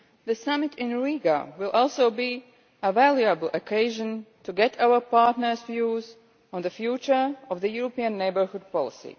the summit in Riga will also be a valuable occasion to get our partners' views on the future of the European Neighbourhood Policy.